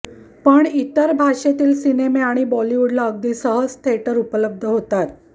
पण इतर भाषेतील सिनेमे आणि बॉलिवूडला अगदी सहज थिएटर उपलब्ध होतात